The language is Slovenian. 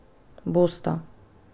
Bosta.